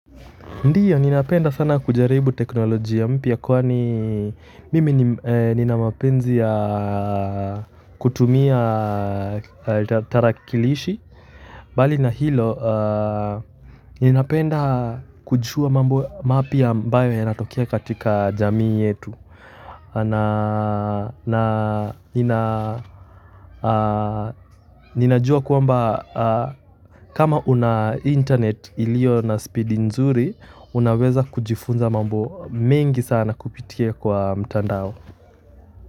Ndiyo, ninapenda sana kujaribu teknolojia mpya kwani mimi nina mapenzi ya kutumia tarakilishi. Mbali na hilo, ninapenda kujua mambo mapya ambayo yanatokea katika jamii yetu. Ninajuwa kwamba kama una internet iliyo na speed nzuri unaeza kujifunza mambo mengi kupitia mtandao.